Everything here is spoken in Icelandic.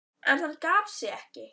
En hann gaf sig ekki.